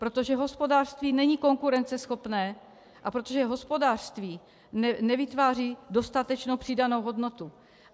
Protože hospodářství není konkurenceschopné a protože hospodářství nevytváří dostatečnou přidanou hodnotu.